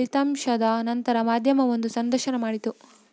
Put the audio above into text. ಲಿತಂಶದ ನಂತರ ಮಾಧ್ಯಮವೊಂದು ಸಂದರ್ಶನ ಮಾಡಿತು